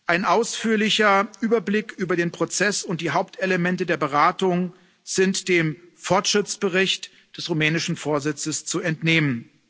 Ein ausführlicher Überblick über den Prozess und die Hauptelemente der Beratung sind dem Fortschrittsbericht des rumänischen Vorsitzes zu entnehmen.